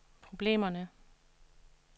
problemerne